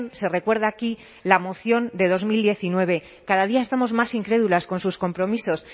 se recuerda aquí la moción de dos mil diecinueve cada día estamos más incrédulas con sus compromisos